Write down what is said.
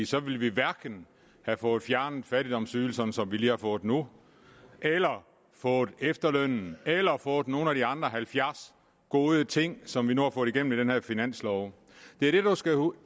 så ville vi hverken have fået fjernet fattigdomsydelserne som vi lige har fået nu eller fået efterlønnen eller fået nogen af de andre halvfjerds gode ting som vi nu har fået igennem med den her finanslov